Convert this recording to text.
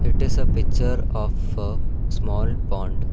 It is a picture of a small pond.